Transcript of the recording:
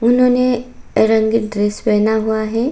उन्होंने रंगीन ड्रेस पहना हुआ है।